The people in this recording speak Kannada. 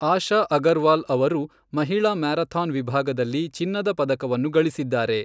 ಆಶ ಅಗರ್ವಾಲ್ ಅವರು ಮಹಿಳಾ ಮ್ಯಾರಥಾನ್ ವಿಭಾಗದಲ್ಲಿ ಚಿನ್ನದ ಪದಕವನ್ನು ಗಳಿಸಿದ್ದಾರೆ.